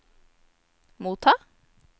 motta